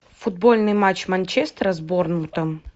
футбольный матч манчестера с борнмутом